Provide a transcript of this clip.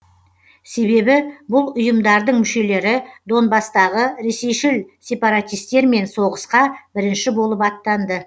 себебі бұл ұйымдардың мүшелері донбасстағы ресейшіл сепаратистермен соғысқа бірінші болып аттанды